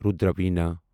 Rudra Veena